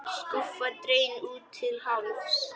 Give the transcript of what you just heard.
Skúffa dregin út til hálfs.